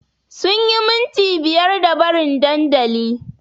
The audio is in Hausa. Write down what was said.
Sunyi minti biyar da barin dandali